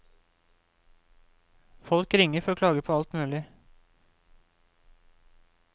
Folk ringer for å klage på alt mulig.